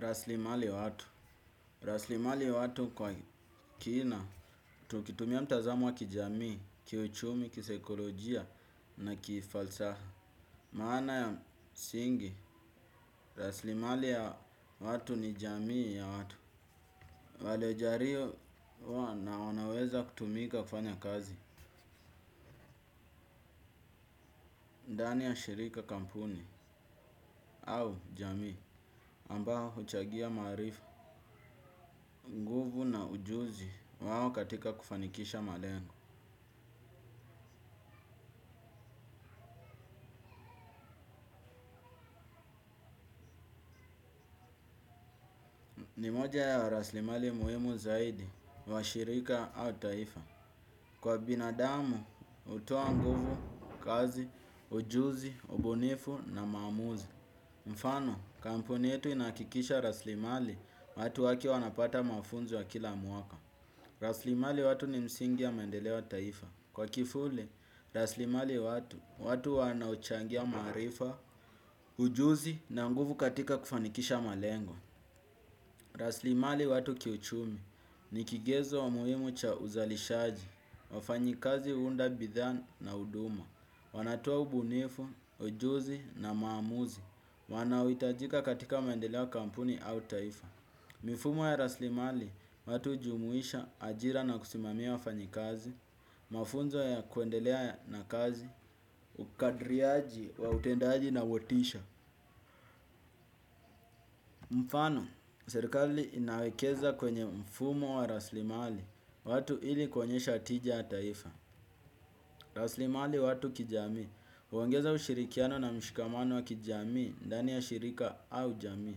Raslimali watu. Rasilimali watu kwa kina. Tukitumia mtazamo wa kijamii, kiuchumi, kisaikolojia na kifalsaha. Maana ya msingi, raslimali ya watu ni jamii ya watu. Waliojariyo na wanaweza kutumika kufanya kazi. Ndani ya shirika kampuni au jamii ambao huchagia maarifa. Nguvu na ujuzi wao katika kufanikisha malengo. Ni moja ya raslimali muhimu zaidi, wa shirika au taifa. Kwa binadamu, hutoa nguvu, kazi, ujuzi, ubunifu na maamuzi. Mfano, kampuni ynetu inahakikisha raslimali watu wake wanapata mafunzo ya kila mwaka. Raslimali watu ni msingi ya maendeleo ya taifa. Kwa kifule, raslimali watu, watu wanaochangia maarifa, ujuzi na nguvu katika kufanikisha malengo. Raslimali watu kiuchumi ni kigezo muhimu cha uzalishaji, wafanyikazi huunda bidhaa na na huduma, wanatoa ubunifu, ujuzi na maamuzi, wanaohitajika katika maendeleo ya kampuni au taifa. Mifumo ya raslimali watu hujumuisha ajira na kusimamia wafanyikazi, mafunzo ya kuendelea na kazi, ukadriaji wa utendaji na motisha. Mfano, serikali inaekeza kwenye mfumo wa raslimali watu ili kuonyesha tija ya taifa. Raslimali watu kijamii. Huongeza ushirikiano na mshikamano wa kijamii ddani ya shirika au jamii.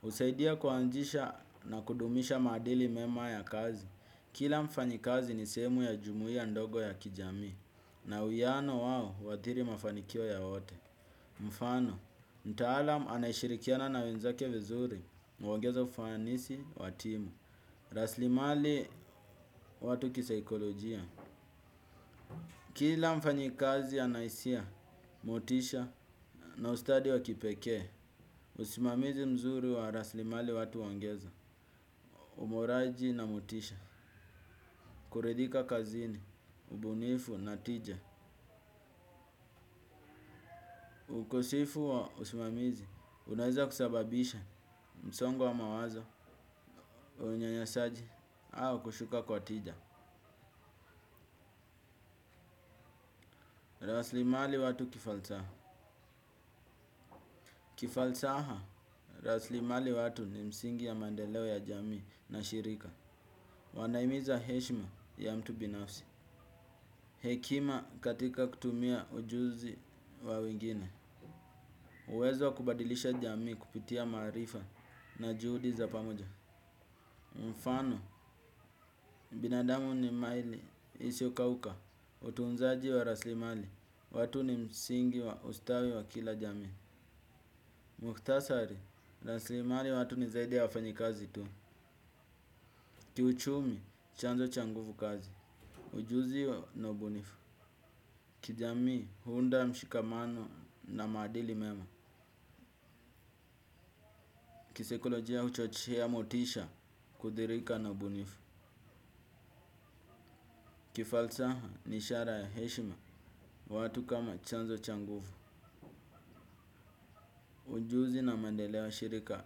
Husaidia kuanzisha na kudumisha maadili mema ya kazi. Kila mfanyikazi ni sehemu ya jumuia ndogo ya kijamii. Na uwiyano wao huathiri mafanikio ya wote. Mfano, mtaalam anayeshirikiana na wenzake vizuri huongeza ufanisi wa timu. Raslimali watu kisaikolojia. Kila mfanyikazi ana hisia, motisha na ustadi wa kipekee. Usimamizi mzuri wa raslimali watu huongeza, uboraji na motisha. Kuridhika kazini, ubunifu, na tija. Ukosifu wa usimamizi, unaeza kusababisha msongo wa mawaza, unyanyasaji au kushuka kwa tija. Raslimali watu kifalsaha kifalsaha, raslimali watu ni msingi ya maendeleo ya jamii na shirika. Wanahimiza heshima ya mtu binafsi. Hekima katika kutumia ujuzi wa wengine uwezo wa kubadilisha jamii kupitia maarifa na juhudi za pamoja mfano, binadamu ni maili isio kauka. Utunzaji wa raslimali, watu ni msingi wa ustawi wa kila jamii. Muktasari, raslimali watu ni zaidi ya wafanyikazi tu. Kiuchumi, chanzo cha nguvu kazi. Ujuzi, na ubunifu. Kijamii, huunda mshikamano na maadili mema. Kisaikolojia, huchochea motisha kudhirika na ubunifu. Kifalsaha, ni ishara ya heshima watu kama chanzo cha nguvu. Ujuzi na maendeleo ya shirika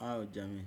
au jamii.